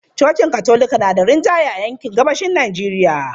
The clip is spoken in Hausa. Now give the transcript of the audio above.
Cocin Katolika na da rinjaye a yankin gabashin Najeriya.